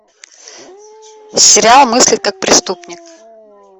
сериал мыслить как преступник